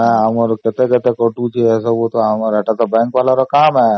କେତେ କେତେ କଟୁଛି ଏଇତ bank ବାଲା ର କାମ ହିଁ